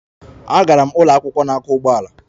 Agara m ụlọ akwụkwọ na-akwọ ụgbọala.